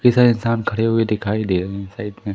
इंसान खड़े हुए दिखाई दे रहे है साइड में।